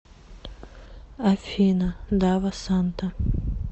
афина дава санта